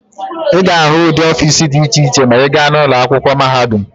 Ị ga-ahụ ụdị ọfiisi dị iche iche ma ị gaa n'ụlọ akwụkwọ mahadum.